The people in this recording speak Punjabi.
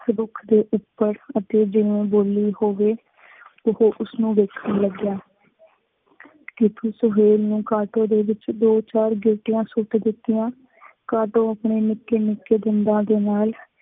ਇਸ ਰੁੱਖ ਦੇ ਉਪਰ ਅਤੇ ਜਿਵੇਂ ਬੋਲੀ ਹੋਵੇ, ਉਹ ਉਸ ਨੂੰ ਵੇਖਣ ਲੱਗਿਆ। ਕਿ ਕੁੱਝ ਹੋਰ ਨਾ ਕਾਟੋਂ ਦੇ ਵਿਚ ਦੋ ਚਾਰ ਗਿਲਟੀਆਂ ਸੁੱਟ ਦਿੱਤੀਆਂ, ਕਾਟੋਂ ਆਪਣੇ ਨਿੱਕੇ ਨਿੱਕੇ ਦੰਦਾਂ ਦੇ ਨਾਲ